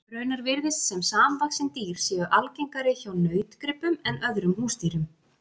Raunar virðist sem samvaxin dýr séu algengari hjá nautgripum en öðrum húsdýrum.